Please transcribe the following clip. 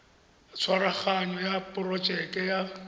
ya tshwaraganyo ya porojeke ya